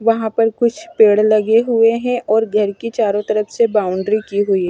वहां पर कुछ पेड़ लगे हुए हैं और घर की चारों तरफ से बाउंड्री की हुई है।